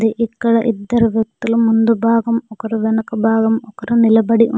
ఇక్కడ ఇద్దరు వ్యక్తుల ముందు భాగం ఒకరు వెనక భాగం ఒకరు నిలబడి--